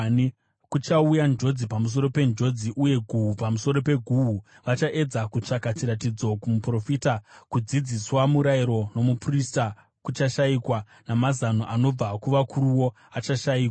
Kuchauya njodzi pamusoro penjodzi uye guhu pamusoro peguhu. Vachaedza kutsvaka chiratidzo kumuprofita; kudzidziswa murayiro nomuprista kuchashayikwa, namazano anobva kuvakuruwo achashayikwa.